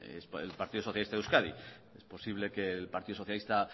el partido socialista de euskadi es posible que el partido socialista